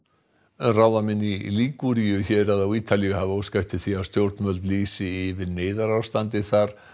ráðamenn í héraði á Ítalíu hafa óskað eftir því að stjórnvöld lýsi yfir neyðarástandi þar